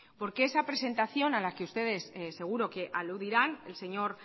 porque esa presentación a la que ustedes seguro que aludirán el señor